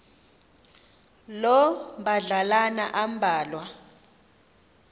loo madlalana ambalwa